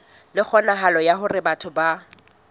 le kgonahalo ya hore batho